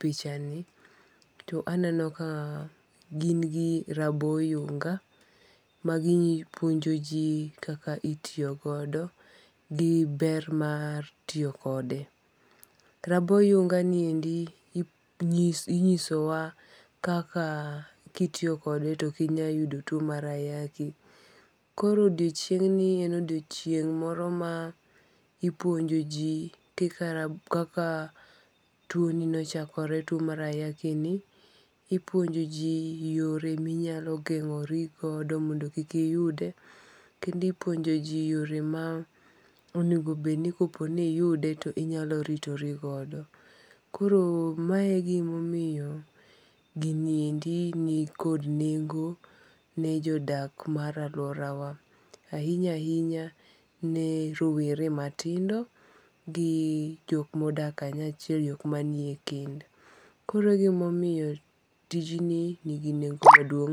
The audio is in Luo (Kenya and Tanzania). pichani to aneno ka gin gi raboyunga' magipuonjo ji kaka itiyogodo gi ber ma tiyo kode, raboyunga'ni endi inyisowa kaka kitiyokode to okinyal yudo two mar ayaki, koro odiochieng'ni en odiochieng' moro ma ipuonjoji kika kaka twoni nochakore two mar ayakini, ipuonjoji yore minyalo gengo'ri godo mondo kik iyude, kendo ipuonjoji yore ma onigo bed ni ko po ni iyude to inyalo ritorogodo, koro mae e gimomiyo giniendi nikod nengo' ne jo dak maraluorawa ahinya hinya ne rowere matindo gi jok ma odak kanyachiel jok manie kend koro e gima omiyo tijni nigi nengo' maduong'.